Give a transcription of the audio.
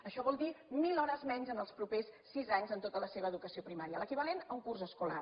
això vol dir mil hores menys en els propers sis anys en tota la seva educació primària l’equivalent a un curs escolar